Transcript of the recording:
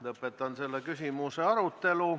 Lõpetan selle küsimuse arutelu.